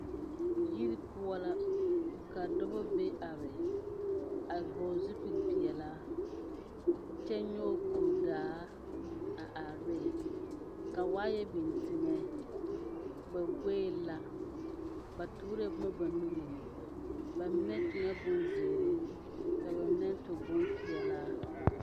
Yiri poɔ la ka dɔba be are a vɔgle zupeli peɛlaa kyɛ nyɔge kuri daa a are ne ka waaya biŋ teŋa ba goe la ba tuurɛɛ boma ba nuure ba mine sue bonzeere a ba mine su bompeɛlaa.